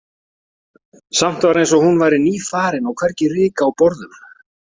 Samt var eins og hún væri nýfarin og hvergi ryk á borðum.